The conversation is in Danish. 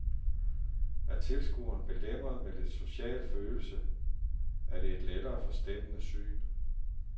Er tilskueren belemret med lidt social følelse, er det et lettere forstemmende syn.